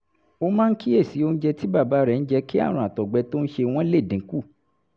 ó máa ń kíyèsí oúnjẹ tí bàbá rẹ̀ ń jẹ kí àrùn àtọ̀gbẹ tó ń ṣe wọ́n lè dín kù